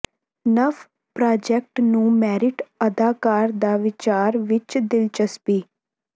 ਨਵ ਪ੍ਰਾਜੈਕਟ ਨੂੰ ਮੈਰਿਟ ਅਦਾਕਾਰ ਦਾ ਵਿਚਾਰ ਵਿਚ ਦਿਲਚਸਪੀ